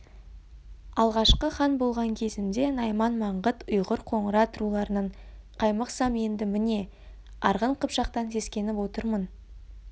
алғашқы хан болған кезімде найман маңғыт ұйғыр қоңырат руларынан қаймықсам енді міне арғын қыпшақтан сескеніп отырмын